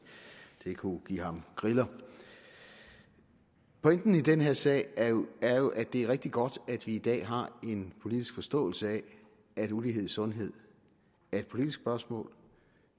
kunne give ham griller pointen i den her sag er jo at det er rigtig godt at vi i dag har en politisk forståelse af at ulighed i sundhed er et politisk spørgsmål